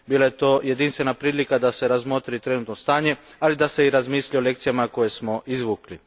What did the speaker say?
Bila je to jedinstvena prilika da se razmotri trenutačno stanje ali i da se razmisli o lekcijama koje smo izvukli.